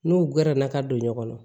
N'u gɛrɛ na ka don ɲɔgɔn na